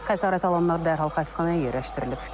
Xəsarət alanlar dərhal xəstəxanaya yerləşdirilib.